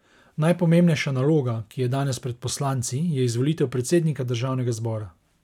Najpomembnejša naloga, ki je danes pred poslanci, je izvolitev predsednika državnega zbora.